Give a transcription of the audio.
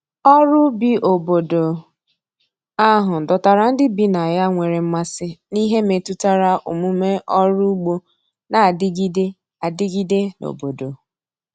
ọrụ ubi obodo ahụ dọtara ndi bi na ya nwere mmasi n'ihe metụtara omume ọrụ ụgbo n'adigide adigide n'obodo